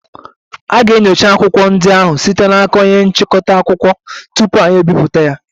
A ga-enyocha akwụkwọ ndị ahụ site n'aka onye nchịkọta akụkọ tupu anyị ebipụta